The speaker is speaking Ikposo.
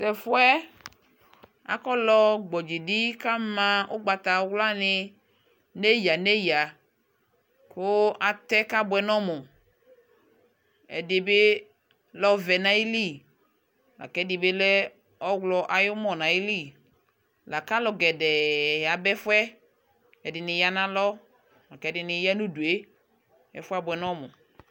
Yʋ ɛfuɛ, akɔlɔ gbɔdzidi kama ʋgbatawla ni neyaneya kʋ atɛ kabʋɛ nɔ mʋ Ɛdi bi lɛ ɔva nayili la ku ɛdi bi lɛ ɔwlɔ ayumɔ, la kʋ alʋ gɛdɛɛ yaba ɛfuɛ Ɛdi ni ya nʋ alɔ la kʋ ɛdini ya nʋ ayidu e Ɛfuɛ abʋɛ nɔ mʋ